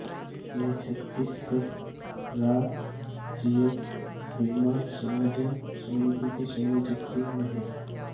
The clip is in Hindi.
वे छत्तीसगढ़ रारज्य निर्माण संयोजन समिति के संयोजक भी रहे